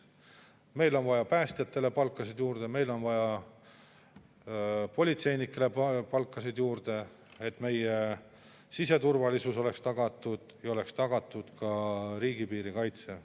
Meil on vaja päästjatele palkasid juurde, meil on vaja politseinikele palkasid juurde, et meie siseturvalisus oleks tagatud ja oleks tagatud ka riigipiiri kaitse.